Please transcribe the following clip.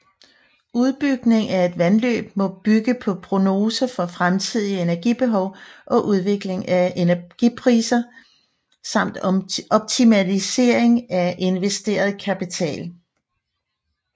Udbygning af et vandløb må bygge på prognoser for fremtidig energibehov og udvikling af energipriser samt optimalisering af investeret kapital